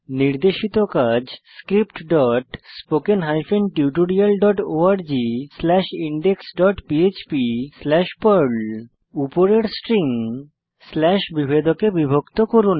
নির্দেশিত কাজ scriptspoken tutorialorgindexphpপার্ল উপরের স্ট্রিং স্ল্যাশ বিভেদকে বিভক্ত করুন